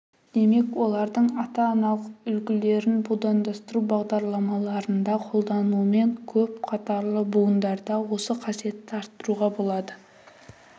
демек олардың ата-аналық үлгілерін будандастыру бағдарламаларында қолданумен көп қатарлы будандарда осы қасиеттерді арттыруға болады